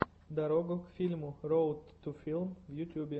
дорога к фильму роад ту филм в ютюбе